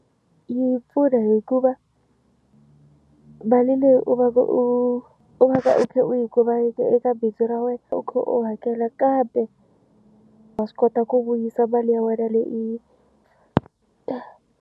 Yi pfuna hikuva mali leyi u va u va ka u khe u yi kumaka eka bindzu ra wena u khe u hakela kambe wa swi kota ku vuyisa mali ya wena leyi u yi ta.